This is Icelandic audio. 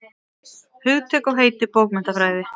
Hugtök og heiti bókmenntafræði.